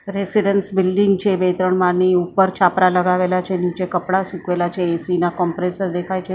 residence building છે બે ત્રણ માળની ઉપર છાપરા લગાવેલા છે નીચે કપડાં સુકવેલા છે એસી ના કમ્પ્રેસર દેખાય છે ઓપ--